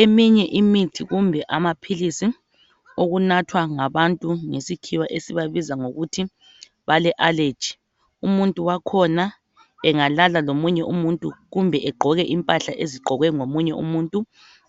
Eminye imithi kumbe amaphilisi okunathwa ngabantu ngesikhiwa esibabiza ngokuthi bale aleji. Umuntu wakhona engalala lomunye umuntu kumbe egqoke impahla ezigqokwe ngomunye umuntu